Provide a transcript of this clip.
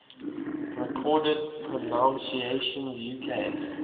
recorded pronunciations uk